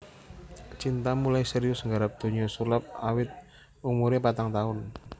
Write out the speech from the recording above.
Cinta mulai serius nggarap donya sulap awit umuré patang taun